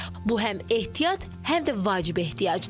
Bu həm ehtiyat, həm də vacib ehtiyacdır.